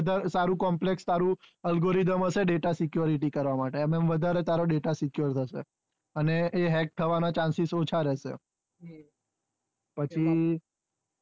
તારું complex તારું algorithm હશે data security કરવા માટે એમાં વધારે તારો data secure રહેશે અને એ hack થવાના chances ઓછા રહેશે પછી